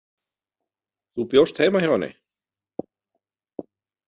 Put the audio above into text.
Þú bjóst heima hjá henni?